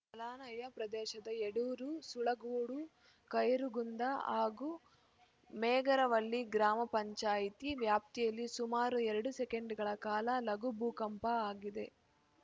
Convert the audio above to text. ಜಲಾನಯ ಪ್ರದೇಶದ ಯಡೂರು ಸುಳಗೋಡು ಖೈರುಗುಂದಾ ಹಾಗೂ ಮೇಗರವಳ್ಳಿ ಗ್ರಾಮ ಪಂಚಾಯಿತಿ ವ್ಯಾಪ್ತಿಯಲ್ಲಿ ಸುಮಾರು ಎರಡು ಸೆಕೆಂಡ್‌ ಗಳ ಕಾಲ ಲಘು ಭೂಕಂಪ ಆಗಿದೆ